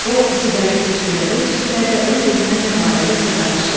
O siqaret tüstülədə-tüstülədə öz-özünə nə barədəsə danışırdı.